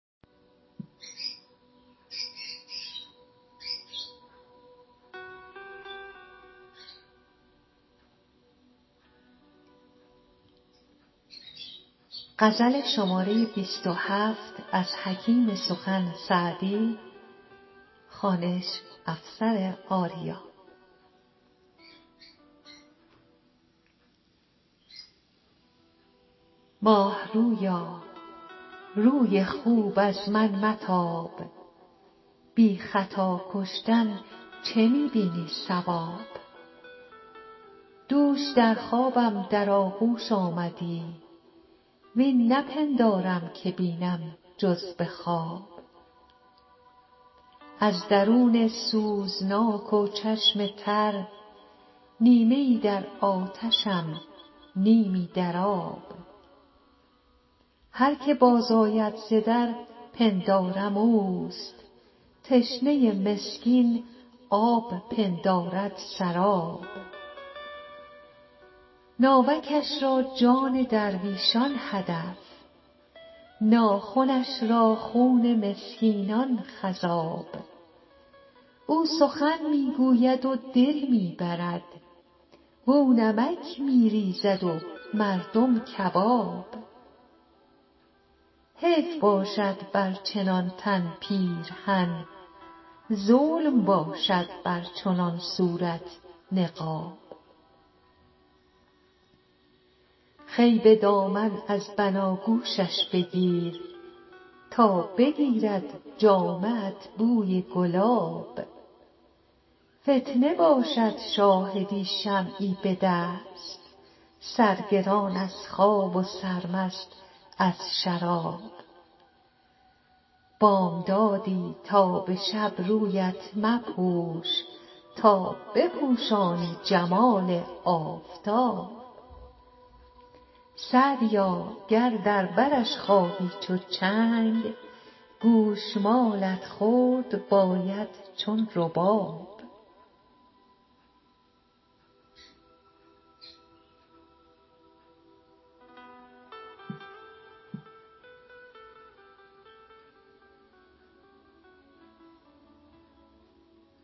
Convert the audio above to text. ماه رویا روی خوب از من متاب بی خطا کشتن چه می بینی صواب دوش در خوابم در آغوش آمدی وین نپندارم که بینم جز به خواب از درون سوزناک و چشم تر نیمه ای در آتشم نیمی در آب هر که باز آید ز در پندارم اوست تشنه مسکین آب پندارد سراب ناوکش را جان درویشان هدف ناخنش را خون مسکینان خضاب او سخن می گوید و دل می برد واو نمک می ریزد و مردم کباب حیف باشد بر چنان تن پیرهن ظلم باشد بر چنان صورت نقاب خوی به دامان از بناگوشش بگیر تا بگیرد جامه ات بوی گلاب فتنه باشد شاهدی شمعی به دست سرگران از خواب و سرمست از شراب بامدادی تا به شب رویت مپوش تا بپوشانی جمال آفتاب سعدیا گر در برش خواهی چو چنگ گوش مالت خورد باید چون رباب